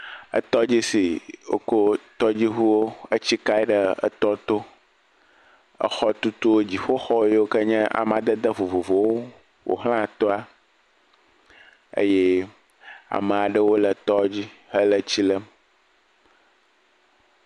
Tɔdzi si woko tɔdzuŋuwo etsi kae ɖe tɔ to. Xɔtutu, dziƒo xɔ yiwo amadede vovovowo ƒo xlã tɔe eye ame aɖewo le tɔ dzi hele tsi lém.